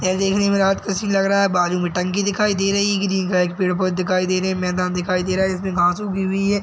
यह देखने में रात का सीन लग रहा बाजू में टंकी दिख रही ग्रीन कलर के पेड़-पौधे दिखाई दे रहे हैं मैदान दिखाई दे रहा हैं इसमें घास उगी हुई है।